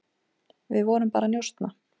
Við vorum bara að njósna,